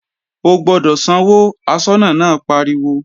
O gbọ́dọ̀ sanwó, aṣọ́nà náà pariwo!